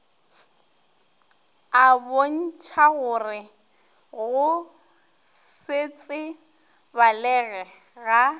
a bontšhagore go setsebalege ga